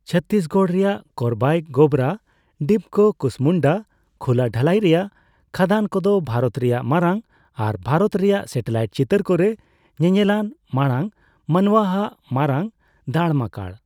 ᱪᱷᱚᱛᱛᱤᱥᱜᱚᱲ ᱨᱮᱭᱟᱜ ᱠᱳᱨᱵᱟᱭ ᱜᱮᱵᱷᱨᱟ, ᱰᱤᱯᱠᱟ, ᱠᱩᱥᱢᱩᱱᱰᱟ ᱠᱷᱩᱞᱟᱹ ᱰᱷᱟᱹᱞᱟᱭ ᱨᱮᱭᱟᱜ ᱠᱷᱟᱫᱟᱱ ᱠᱚᱫᱚ ᱵᱷᱟᱨᱚᱛ ᱨᱮᱭᱟᱜ ᱢᱟᱨᱟᱝ ᱟᱨ ᱵᱷᱟᱨᱚᱛ ᱨᱮᱭᱟᱜ ᱥᱮᱴᱮᱞᱟᱭᱤᱴ ᱪᱤᱛᱟᱹᱨ ᱠᱚᱨᱮ ᱧᱮᱧᱮᱞᱟᱱ ᱢᱟᱲᱟᱝ ᱢᱟᱱᱣᱟᱼᱟᱜ ᱢᱟᱨᱟᱝ ᱫᱟᱲᱢᱟᱠᱟᱨ ᱾